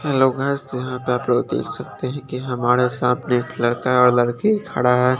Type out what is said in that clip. लोग यहाँ पर अपना देख सकते है की हमारा सामने एक लड़का और लड़की खड़ा है।